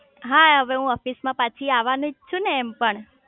હા હવે હું ઓફિસ માં પછી આવાનીજ છું ને એમ પણ